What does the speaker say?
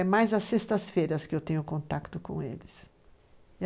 É mais às sextas-feiras que eu tenho contato com eles.